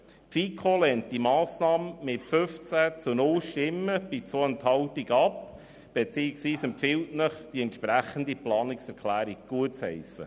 Die FiKo lehnt die Massnahme mit 15 Ja- gegen 0 Nein-Stimmen bei 2 Enthaltungen ab und empfiehlt Ihnen, die entsprechende Planungserklärung gutzuheissen.